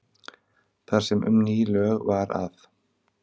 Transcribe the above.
Þar sem um ný lög var að